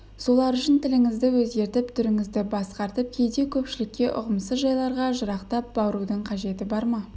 солар үшін тіліңізді өзгертіп түріңізді басқартып кейде көпшілікке ұғымсыз жайларға жырақтап барудың қажеті бар ма